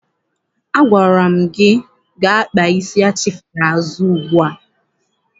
Agwara m gị gaa kpaa isi achịfere azụ ugbu a!